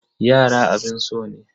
Yara abun so ne.